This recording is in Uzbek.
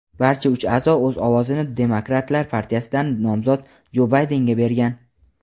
Barcha uch a’zo o‘z ovozini Demokratlar partiyasidan nomzod Jo Baydenga bergan.